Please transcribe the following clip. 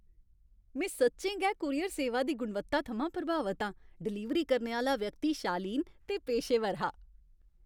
में सच्चें गै कूरियर सेवा दी गुणवत्ता थमां प्रभावत आं। डलीवरी करने आह्‌ला व्यक्ति शालीन ते पेशेवर हा।